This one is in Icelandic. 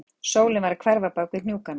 Sólin var að hverfa bak við hnúkana